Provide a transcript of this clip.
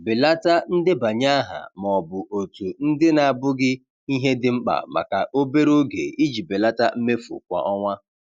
Belata ndebanye aha ma ọ bụ òtù ndị na-abụghị ihe dị mkpa maka obere oge iji belata mmefu kwa ọnwa.